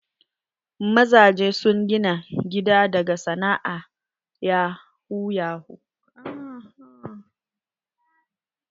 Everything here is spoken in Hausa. Mazajen sun gina gida daga sana'a na yahu yahu.